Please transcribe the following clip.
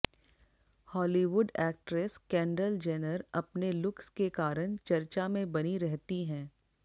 Hollywood actress Kendall Jenner अपने looks के कारण चर्चा में बनी रहती हैं